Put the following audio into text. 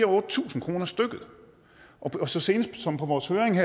og otte tusind kroner stykket så sent som på vores høring